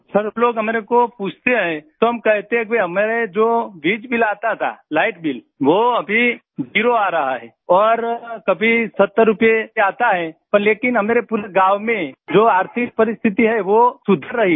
sir लोग हमारे को पूछते है तो हम कहते हैं कि हमें जो बिल आता था लाइट बिल वो अभी जीरो आ रहा है और कभी 70 रूपए आता है पर लेकिन हमारे पूरे गाँव में जो आर्थिक परिस्थिति है वो सुधर रही है